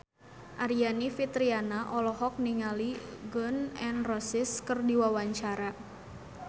Aryani Fitriana olohok ningali Gun N Roses keur diwawancara